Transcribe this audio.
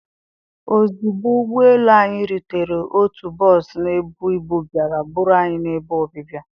ozugbo ụgbọ elu anyị rutere otu bọs na-ebu ibu bịara buru anyị n'ebe ọbịbịa.